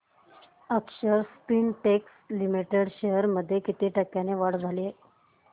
अक्षर Spintex limited shares मध्ये किती टक्क्यांची वाढ झाली